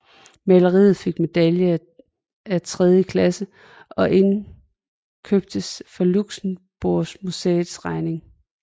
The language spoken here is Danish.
Maleriet fik medalje af tredje klasse og indkøbtes for Luxembourgmuséets regning